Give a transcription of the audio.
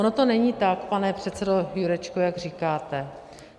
Ono to není tak, pane předsedo Jurečko, jak říkáte.